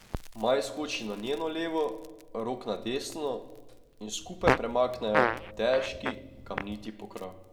Maj skoči na njeno levo, Rok na desno in skupaj premaknejo težki kamniti pokrov.